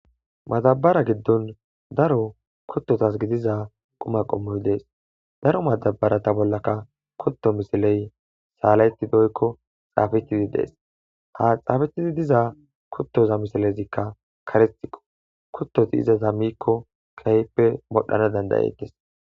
Matabara giddon daro kuttotas gidiza quma qommoy dees daro matabarata bollaka kutto misiley saalayti doykko xaafetidi dees ha xaafethidi diza kuttoza misilezikka karetiqo kuttoti izaza mikko kehppe modhana dandayetes